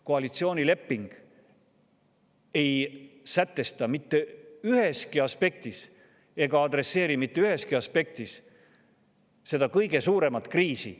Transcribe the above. Koalitsioonileping ei sätesta ega adresseeri mitte üheski aspektis seda kõige suuremat kriisi.